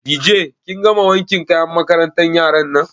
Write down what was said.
Dije kin gama wankin kayan makarantan yaran nan?